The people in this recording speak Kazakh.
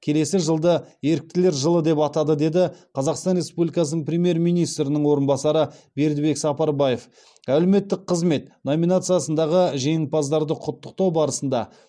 келесі жылды еріктілер жылы деп атады деді қазақстан республикасының премьер министрінің орынбасары бердібек сапарбаев әлеуметтік қызмет номинациясындағы жеңімпаздарды құттықтау барысында